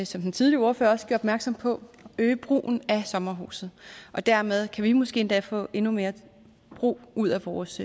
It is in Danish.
som den tidligere ordfører også gjorde opmærksom på øge brugen af sommerhuset og dermed kan vi måske endda få endnu mere brug ud af vores